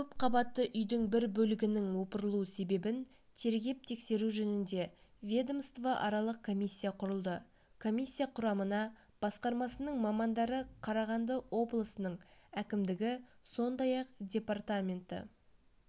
көпқабатты үйдің бір бөлігінің опырылу себебін тергеп-тексеру жөнінде ведомствоаралық комиссия құрылды комиссия құрамына басқармасының мамандары қарағанды облысының әкімдігі сондай-ақ департаменті